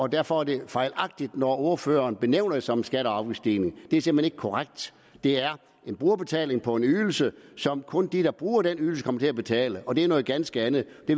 derfor er det fejlagtigt når ordfører benævner det som en skatte og afgiftsstigning det er simpelt hen ikke korrekt det er en brugerbetaling på en ydelse som kun dem der bruger den ydelse kommer til at betale og det er noget ganske andet